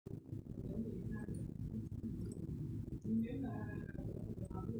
kwaka irbulabul le Lynch syndrome?